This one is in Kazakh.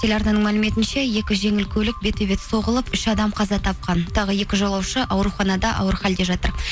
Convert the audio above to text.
телеарнаның мәліметінше екі жеңіл көлік бетпе бет соғылып үш адам қаза тапқан тағы екі жолаушы ауруханада ауыр халде жатыр